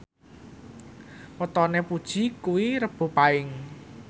wetone Puji kuwi Rebo Paing